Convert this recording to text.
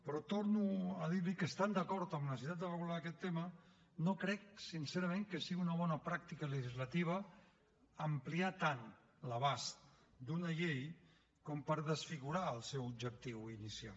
però torno a dir li que estant d’acord amb la necessitat de regular aquest tema no crec sincerament que sigui una bona pràctica legislativa ampliar tant l’abast d’una llei com per desfigurar el seu objectiu inicial